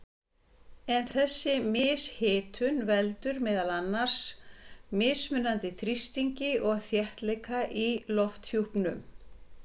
En þessi mishitun veldur meðal annars mismunandi þrýstingi og þéttleika í lofthjúpnum.